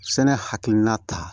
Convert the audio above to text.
Sɛnɛ hakilina ta